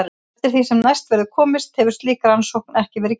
Eftir því sem næst verður komist hefur slík rannsókn ekki verið gerð.